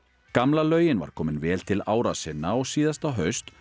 gamla laugin var komin vel til ára sinna og síðasta haust